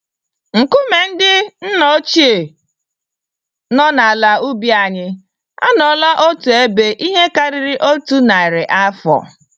Nkume ndị nna ochie nọ n'ala ubi anyị, anọọla n'otu ebe ihe karịrị otu narị afọ.